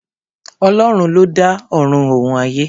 Ọlọ́run ló dá Ọ̀run òun ayé.